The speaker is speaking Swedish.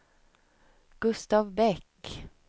Gustav Bäck